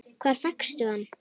Hvar fékkstu hann?